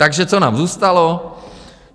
Takže co nám zůstalo?